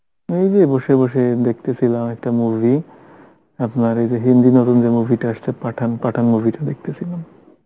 এই যে বসে বসে দেখতেছিলাম একটা movie আপনার এই যে hindi নতুন যে movie টা এসেছে পাঠান, পাঠান movie টা দেখতেছিলাম